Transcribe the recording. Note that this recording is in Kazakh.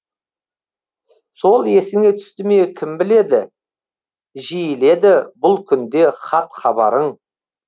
сол есіңе түсті ме кім біледі жиіледі бұл күнде хат хабарың